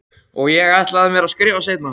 Og ég ætla mér að skrifa seinna.